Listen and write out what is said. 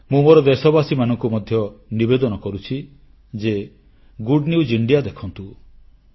ମୁଁ ମୋର ଦେଶବାସୀମାନଙ୍କୁ ମଧ୍ୟ ନିବେଦନ କରୁଛି ଯେ ଗୁଡ୍ ନ୍ୟୁଜ୍ ଇଣ୍ଡିଆ ଦେଖନ୍ତୁ